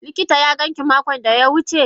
Likita ya ganki mako da ta wuce?